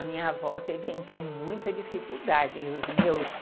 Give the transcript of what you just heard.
A minha avó teve, então, muita dificuldade e os meus...